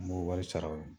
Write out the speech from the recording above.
N b'o wari sara o ye